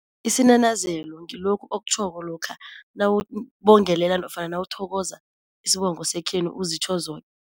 Isinanazelo ngilokhu okutjhoko lokha nawubongelela nofana nawuthokoza isibongo sekhenu, uzitjho